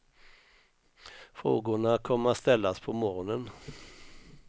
Frågorna kommer att ställas på morgonen.